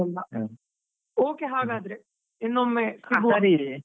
ಹಾಗೆಲ್ಲಾ, okay ಹಾಗಾದ್ರೆ ಇನ್ನೊಮ್ಮೆ .